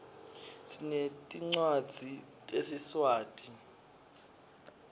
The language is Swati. sinetncwadzi tesiswati